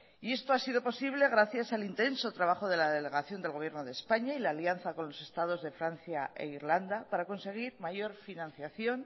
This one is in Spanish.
y esto ha sido posible gracias al intenso trabajo de la delegación del gobierno de españa y la alianza con los estados de francia e irlanda para conseguir mayor financiación